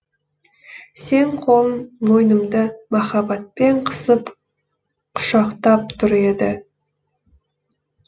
сенің қолың мойнымды махаббатпен қысып құшықтап тұр еді